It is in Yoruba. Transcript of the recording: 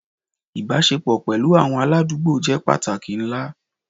Ibasepo pẹlu awọn aladugbo jẹ pataki nla